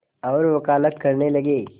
और वक़ालत करने लगे